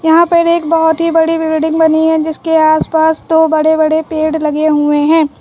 यहां पर एक बहोत ही बड़ी बिल्डिंग बनी है जिसके आस पास दो बड़े-बड़े पेड़ लगे हुए हैं।